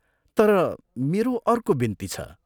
तर मेरो अर्को बिन्ती छ।